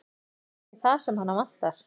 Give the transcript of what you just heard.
Það er kannski það sem hana vantar.